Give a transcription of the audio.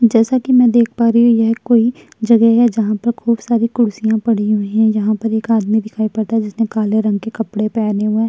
जैसा कि में देख पा रही हूँ यह कोई जगह है जहाँ पर खूब सारी कुर्सियां पड़ी हुई हैं यहां पर एक आदमी दिखाई पड़ता है जिसने काले रंग के कपड़े पहने हुए --